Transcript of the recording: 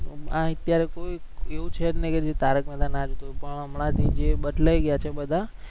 આ અત્યારે કોઈ એવું છે જ નઈ જે તારક મહેતા ના જોતું હોય પણ હમણાંથી જે બદલાઈ ગયા છે બધા